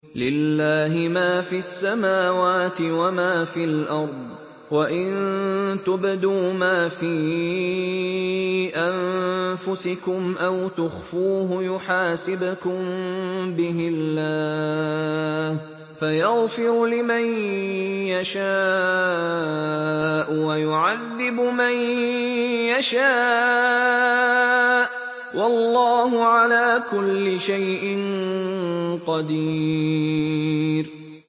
لِّلَّهِ مَا فِي السَّمَاوَاتِ وَمَا فِي الْأَرْضِ ۗ وَإِن تُبْدُوا مَا فِي أَنفُسِكُمْ أَوْ تُخْفُوهُ يُحَاسِبْكُم بِهِ اللَّهُ ۖ فَيَغْفِرُ لِمَن يَشَاءُ وَيُعَذِّبُ مَن يَشَاءُ ۗ وَاللَّهُ عَلَىٰ كُلِّ شَيْءٍ قَدِيرٌ